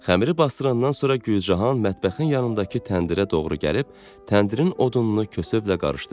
Xəmiri basdırandan sonra Gülcahan mətbəxin yanındakı təndirə doğru gəlib, təndirin odununu kösöblə qarışdırdı.